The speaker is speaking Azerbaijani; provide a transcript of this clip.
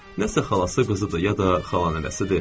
Nəsə xalası qızıdır, ya da xala nəvəsidir.